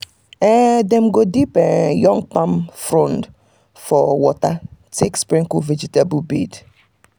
dem um go dip um young palm um frond for water take sprinkle vegetable bed.